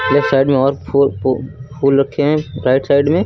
Left side में और फू पू फूल रखे हैं राइट साइड में।